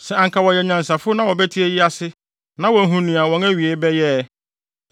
Sɛ anka wɔyɛ anyansafo na wɔbɛte eyi ase, na wɔahu nea wɔn awiei bɛyɛ ɛ!